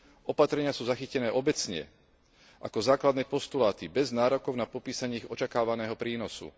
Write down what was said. Opatrenia sú zachytené všeobecne ako základné postuláty bez nárokov na popísanie ich očakávaného prínosu.